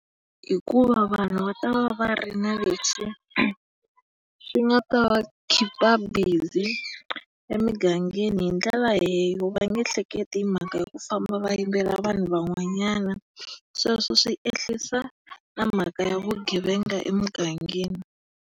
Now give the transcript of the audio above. Hikuva vanhu va ta va va ri ni lexi xi nga ta va khipha bizi emugangeni hi ndlela va nge hleketi hi mhaka ya ku famba va yivela vanhu van'wanyana. Sweswo swi ehlisa na mhaka ya vugevenga emugangeni.